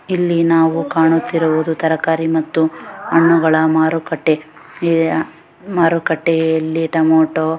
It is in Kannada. ಇಲ್ಲಿ ನಾವು ಕಾಣ್ಣುತ್ತಿರುವುದು ತರಕಾರಿ ಮತ್ತು ಹಣ್ಣುಗಳ ಮಾರುಕಟ್ಟೆ. ಈ ಆ ಮಾರುಕಟ್ಟೆಯಲ್ಲಿ ಟೊಮೇಟೊ --